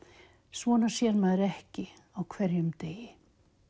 svona sér maður ekki hverjum degi